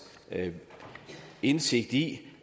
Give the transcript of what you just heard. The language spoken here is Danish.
indsigt i